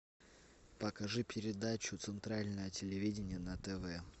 покажи передачу центральное телевидение на тв